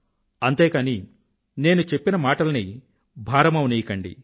అంతే కానీ నేను చెప్పిన మాటల్ని భారమవనీయకండి